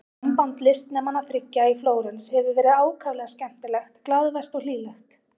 Samband listnemanna þriggja í Flórens hefur verið ákaflega skemmtilegt, glaðvært og hlýlegt.